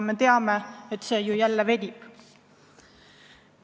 Me teame, et see ju jälle venib.